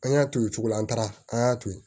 An y'a to yen o cogo la an taara an y'a to yen